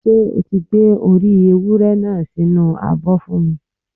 Ṣé o ti Gbé orí ewúré náà sí inú abọ́ fún mi?